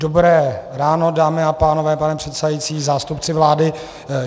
Dobré ráno dámy a pánové, pane předsedající, zástupci vlády.